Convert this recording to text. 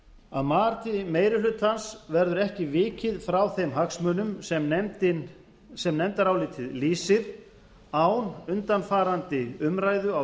að mati meiri hlutans verður ekki vikið frá þeim hagsmunum sem nefndarálitið lýsir án undanfarandi umræðu á